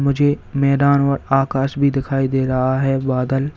मुझे मैदान और आकाश भी दिखाई दे रहा है बादल--